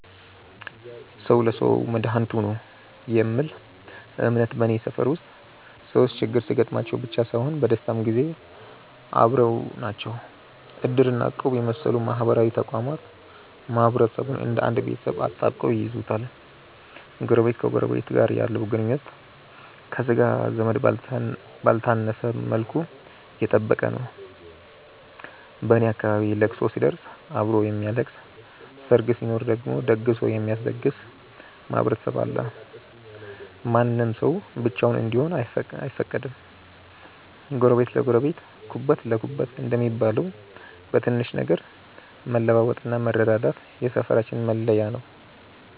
"ሰው ለሰው መድኃኒቱ ነው" የሚል እምነት በኔ ሰፈር ውስጥ ሰዎች ችግር ሲገጥማቸው ብቻ ሳይሆን በደስታም ጊዜ አብረው ናቸው። እድር እና እቁብ የመሰሉ ማህበራዊ ተቋማት ማህበረሰቡን እንደ አንድ ቤተሰብ አጣብቀው ይይዙታል። ጎረቤት ከጎረቤቱ ጋር ያለው ግንኙነት ከሥጋ ዘመድ ባልተነሰ መልኩ የጠበቀ ነው። በኔ አካባቢ ለቅሶ ሲደርስ አብሮ የሚያለቅስ፣ ሰርግ ሲኖር ደግሞ ደግሶ የሚያስደግስ ማህበረሰብ አለ። ማንም ሰው ብቻውን እንዲሆን አይፈቀድም። "ጎረቤት ለጎረቤት ኩበት ለኩበት" እንደሚባለው፣ በትንሽ ነገር መለዋወጥና መረዳዳት የሰፈራችን መለያ ነው።